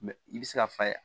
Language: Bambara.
Mɛ i bɛ se ka fa ye